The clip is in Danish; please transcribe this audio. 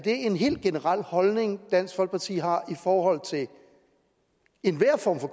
en helt generel holdning dansk folkeparti har i forhold til enhver form for